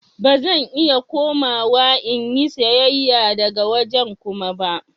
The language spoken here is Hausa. Ba zan iya komawa in yi sayayya daga wajen Kuma ba.